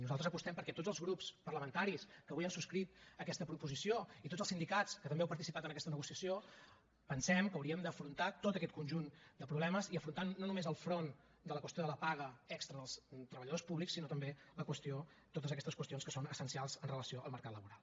nosaltres apostem perquè tots els grups parlamentaris que avui han subscrit aquesta proposició i tots els sindicats que també heu participat en aquesta negociació pensem que hauríem d’afrontar tot aquest conjunt de problemes i afrontar no només el front de la qüestió de la paga extra dels treballadors públics sinó també totes aquestes qüestions que són essencials amb relació al mercat laboral